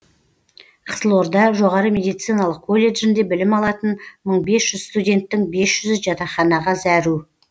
қызылорда жоғары медициналық колледжінде білім алатын мың бес жүз студенттің бес жүзі жатақханаға зәру